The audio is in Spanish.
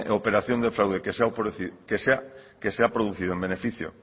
operación de fraude